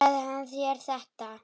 Sagði hann þér þetta?